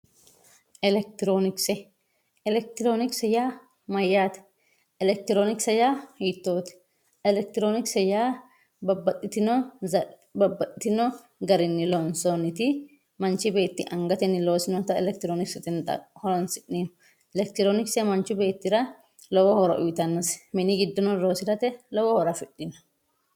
elekitiroonikise. elekitiroonikise yaa mayyaate elekitiroonikise yaa hiittoote elekitiroonikise yaa babbaxxitino garinni loonsoonniti manchi beetti angatenni loosinota elekitiroonikisete yine horoonsi'neemmo elekitiroonikise manchi beettira lowo horo uyiitannosi mini giddono loosirate lowo horo afidhino.